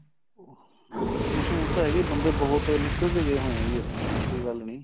ਹਮ ਮਸ਼ਹੂਰ ਤਾਂ ਹੈਗਾ ਈ ਬੰਦੇ ਬਹੁਤ ਨਿਕਲ ਗਏ ਹੋਏ ਏ ਜੀ ਇੱਥੋ ਐਸੀ ਗੱਲ ਨੀਂ